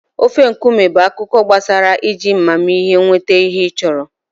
Ofe nkume bụ akụkọ gbasara iji amamihe nweta ihe ị chọrọ.